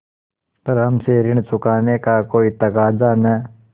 पर हमसे ऋण चुकाने का कोई तकाजा न